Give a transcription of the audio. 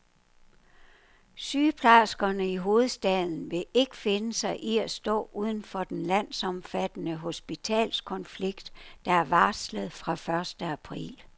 Sygeplejerskerne i hovedstaden vil ikke finde sig i at stå uden for den landsomfattende hospitalskonflikt, der er varslet fra første april.